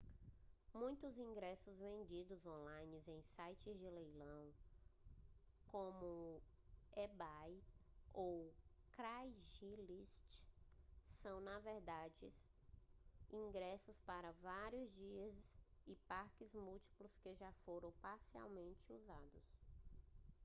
muitos ingressos vendidos on-line em sites de leilão como o ebay ou o craigslist são na verdade ingressos para vários dias e parques múltiplos que já foram parcialmente usados